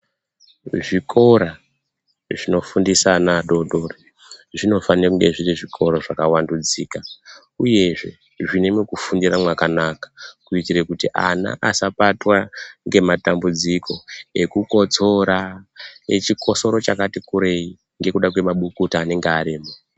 Zvikora zvinofundisa ana adodori ,zvinofane kunge zviri zvikora zvakavandudzika, uyezve zvine mekufundira mwakanaka, kuitire kuti ana asabatwa ngematambudziko ekukotsoro ,echikotsoro chakati kurei ,ngekuda kwemabukuta anenge arimo.